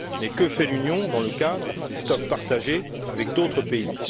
Mais que fait l'Union dans le cadre des stocks partagés avec d'autres pays?